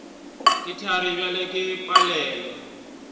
ke thari bjale ke palelwa